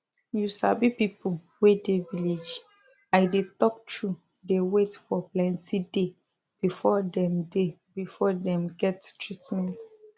you sabi people wey dey village i dey talk truth dey wait for plenti day before dem day before dem get treatment